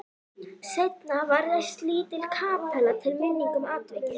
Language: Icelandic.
Seinna var reist lítil kapella til minningar um atvikið.